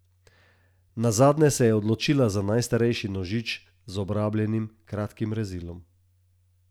Nazadnje se je odločila za najstarejši nožič z obrabljenim, kratkim rezilom.